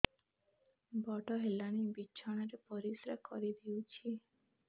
ବଡ଼ ହେଲାଣି ବିଛଣା ରେ ପରିସ୍ରା କରିଦେଉଛି